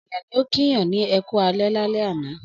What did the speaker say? Ọ̀pọ̀lọpọ̀ ènìyàn ni ó kíyàn ní ẹ kú alẹ́ lálẹ́ àná.